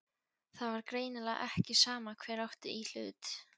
Það var greinilega ekki sama hver átti í hlut.